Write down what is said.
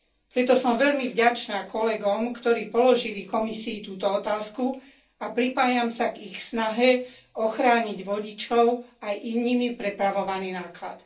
Preto som veľmi vďačná kolegom, ktorí položili Komisii túto otázku, a pripájam sa k ich snahe ochrániť vodičov aj nimi prepravovaný náklad.